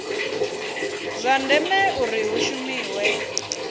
zwa ndeme uri hu shumiwe